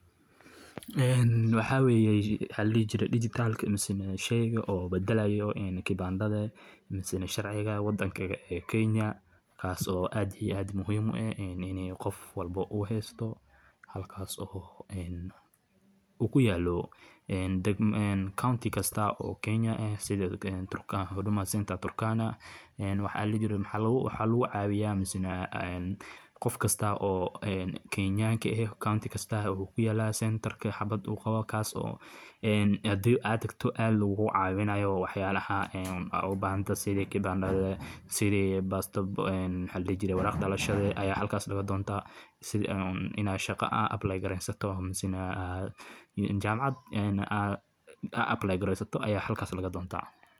[Digitalka] mise sheyga badalayo kipandhaha mise sharciga wadanka Kenya kas oo aad io aad muhiim u ah in u qof walbo u hesto halkas o kuyalo county kasto o Kenya aah sida Huduma Center Turkana waxa lagu cawiya qof kasta o Kenyan ah County kasta wu kuyala wuxuna kuyala [center] kas o hadi aad tagto lagugu cawinayo wax yalaha u bahan tahay sida kipandha, waraq dhalashada, sida inad shaqo [apply] garesato mise jamacad aad [apply] garesato aya halkas laga donta.